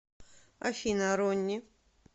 афина ронни